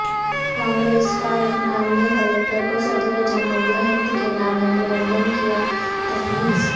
کانگریس کا رکنان نے کلکٹر کو صدر جمہو ریہ ہند کے نام میمورنڈم کیا تفویض